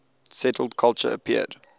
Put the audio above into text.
settled culture appeared